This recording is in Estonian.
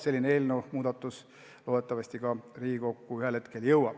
Selline seadusmuudatus loodetavasti jõuab ka Riigikokku hääletusele.